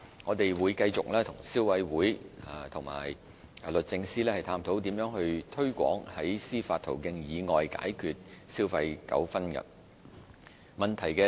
我們會繼續與消委會及律政司探討如何推廣在司法途徑以外解決消費糾紛。